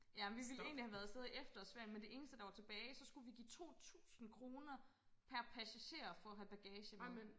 Ja men vi ville egentlig have været afsted i efterårsferien men det eneste der var tilbage så skulle vi give 2000 kroner per passager for at have bagage med